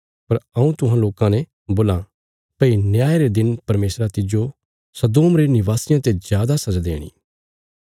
पर हऊँ तुहां लोकां ने बोलां भई न्याय रे दिन परमेशरा तिज्जो सदोम रे निवासियां ते जादा सजा देणी